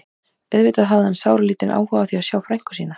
Auðvitað hafði hann sáralítinn áhuga á því að sjá frænku sína.